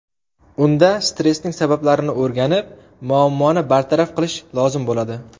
Unda stressning sabablarini o‘rganib muammoni bartaraf qilish lozim bo‘ladi.